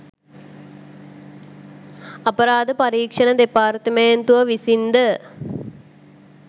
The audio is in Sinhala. අපරාධ පරීක්ෂණ දෙපාර්තුමේන්තුව විසින්ද